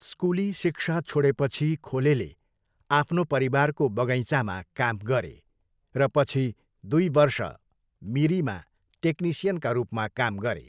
स्कुली शिक्षा छोडेपछि खोलेले आफ्नो परिवारको बगैँचामा काम गरे, र पछि दुई वर्ष मिरीमा टेक्निसियनका रूपमा काम गरे।